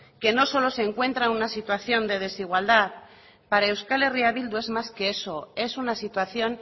que no solo se encuentran en una situación de desigualdad para eh bildu es más que eso es una situación